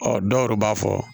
Ɔ dɔw yɛrɛ b'a fɔ